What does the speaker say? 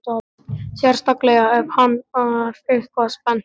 Sérstaklega ef hann er eitthvað spenntur.